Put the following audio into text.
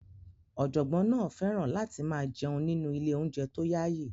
Ọ̀jọ̀gbọ́n náà fẹ́ràn láti máa jẹun nínú ilé-oúnjẹ tó yaayi.